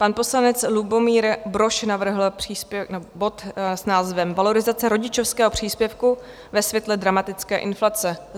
Pan poslanec Lubomír Brož navrhl bod s názvem Valorizace rodičovského příspěvku ve světle dramatické inflace.